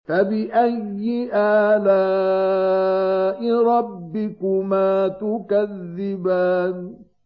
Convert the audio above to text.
فَبِأَيِّ آلَاءِ رَبِّكُمَا تُكَذِّبَانِ